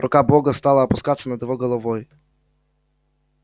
рука бога стала опускаться над его головой